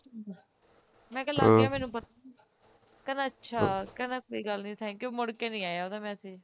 ਮੈਂ ਕਹਿ ਲੱਗ ਗਿਆ ਮੈਨੂੰ ਪਤਾ ਕਹਿੰਦਾ ਅੱਛਾ ਕਹਿੰਦਾ ਕੋਈ ਗੱਲ ਨਹੀ thank you ਮੁੜ ਕੇ ਨਹੀ ਆਇਆ ਉਹਦਾ message